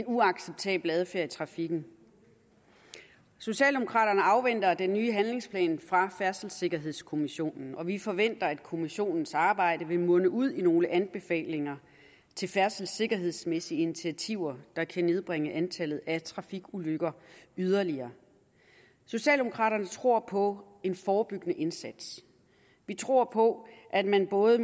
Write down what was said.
uacceptabel adfærd i trafikken socialdemokraterne afventer den nye handlingsplan fra færdselssikkerhedskommissionen og vi forventer at kommissionens arbejde vil munde ud i nogle anbefalinger til færdselssikkerhedsmæssige initiativer der kan nedbringe antallet af trafikulykker yderligere socialdemokraterne tror på en forebyggende indsats vi tror på at man både